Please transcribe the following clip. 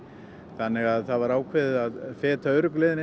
þannig að það var ákveðið að feta öruggu leiðina